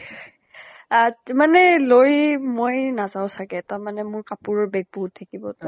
আ মানে লৈ মই নাযাওঁ চাগে। তাৰ মানে মোৰ কাপোৰৰ bag বহুত থাকিব তো।